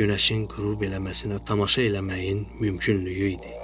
günəşin qürub eləməsinə tamaşa eləməyin mümkünlüyü idi.